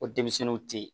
O denmisɛnninw tɛ yen